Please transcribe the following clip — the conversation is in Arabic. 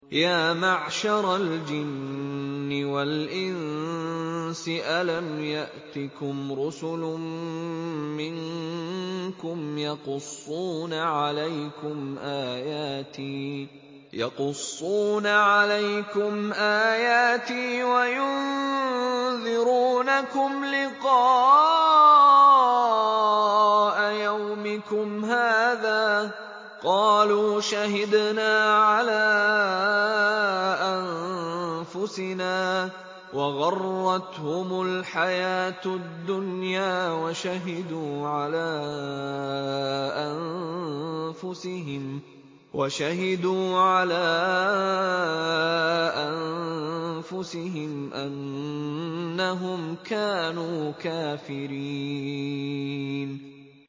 يَا مَعْشَرَ الْجِنِّ وَالْإِنسِ أَلَمْ يَأْتِكُمْ رُسُلٌ مِّنكُمْ يَقُصُّونَ عَلَيْكُمْ آيَاتِي وَيُنذِرُونَكُمْ لِقَاءَ يَوْمِكُمْ هَٰذَا ۚ قَالُوا شَهِدْنَا عَلَىٰ أَنفُسِنَا ۖ وَغَرَّتْهُمُ الْحَيَاةُ الدُّنْيَا وَشَهِدُوا عَلَىٰ أَنفُسِهِمْ أَنَّهُمْ كَانُوا كَافِرِينَ